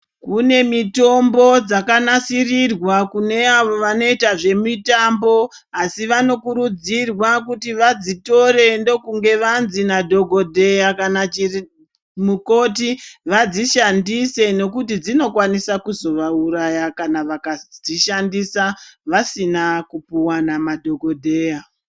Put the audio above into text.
Rimweni kune mitombo dzakanasirirwa kune avo vanoita zvemitambo, asi vanokurudzirwa kuti vadzitore ndokunge vanzi vadzitore nadhogodheya kana chirii namukoti vadzishandise, nekuti dzinokwanisa kuzovairaya kana vakadzishandisa ,vasina kupuwa namadhogodheya.